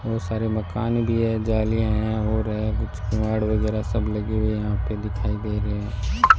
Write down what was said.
बहुत सारे मकान भी है जालीयां है यहां हो रहा है कुछ केवाड वगैरा सब लगे हुए हैं यहां पे दिखाई दे रहे है।